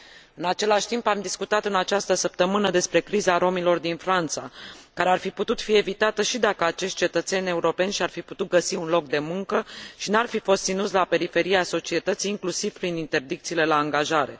În același timp, am discutat în această săptămână despre criza romilor din Franța, care ar fi putut fi evitată și dacă acești cetățeni europeni și ar fi putut găsi un loc de muncă și n ar fi fost ținuți la periferia societății, inclusiv prin interdicțiile la angajare.